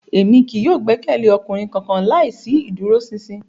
Emi kii yóò gbẹkẹle ọkunrin kankan laisi iduroṣinṣin